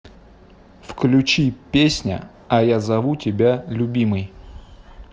включи песня а я зову тебя любимой